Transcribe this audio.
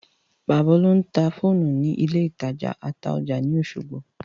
Bàbá Olú ń ta fóònù ní ilé ìtajà Ataoja ní Osogbo